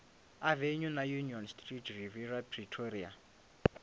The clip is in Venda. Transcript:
avenue na union street riviera pretoria